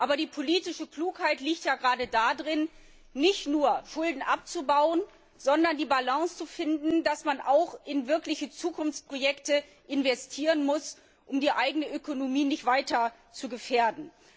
Aber die politische Klugheit liegt ja gerade darin, nicht nur Schulden abzubauen, sondern die Balance zu finden, damit man auch in wirkliche Zukunftsprojekte investieren kann, um die eigene Ökonomie nicht weiter zu gefährden.